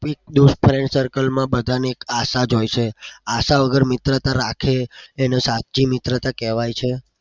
દોસ્ત friend circle માં બધાને એક આશા જ હોય છે આશા વગર મિત્રતા રાખે એને સાચી મિત્રતા કેવાય છે.